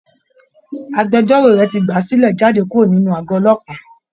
Agbẹjọ́rò rẹ̀ ti gbà á sílẹ̀ jáde kúrò ní àgọ́ ọlọ́pàá